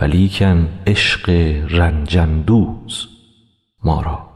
ولیکن عشق رنج اندوز ما را